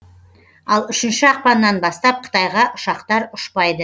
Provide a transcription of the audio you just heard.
ал үшінші ақпаннан бастап қытайға ұшақтар ұшпайды